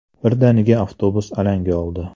Birdaniga avtobus alanga oldi.